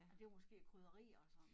Og det var måske krydderier og sådan